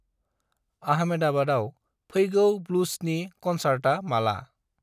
आहमेदाबाव फैगौ ब्लुसनि कनचार्टा माला?